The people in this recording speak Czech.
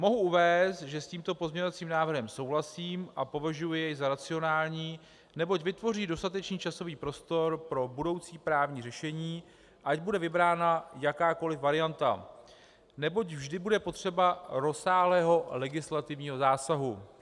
Mohu uvést, že s tímto pozměňovacím návrhem souhlasím a považuji jej za racionální, neboť vytvoří dostatečný časový prostor pro budoucí právní řešení, ať bude vybrána jakákoliv varianta, neboť vždy bude potřeba rozsáhlého legislativního zásahu.